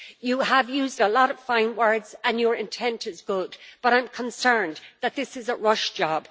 You have used a lot of fine words and your intent is good but I am concerned that this is a rush job.